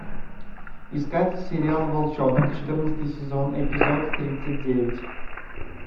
искать сериал волчонок четырнадцатый сезон эпизод тридцать девять